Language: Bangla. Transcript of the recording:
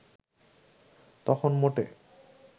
তখন মোটে